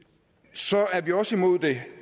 så er vi også imod det